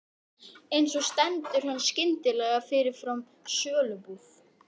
En svo stendur hann skyndilega fyrir framan sölubúð